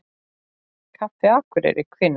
Kaffi Akureyri Hvenær?